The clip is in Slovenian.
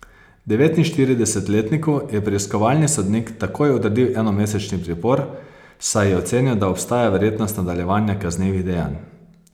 Devetinštiridesetletniku je preiskovalni sodnik takoj odredil enomesečni pripor, saj je ocenil, da obstaja verjetnost nadaljevanja kaznivih dejanj.